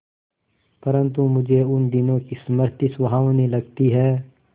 परंतु मुझे उन दिनों की स्मृति सुहावनी लगती है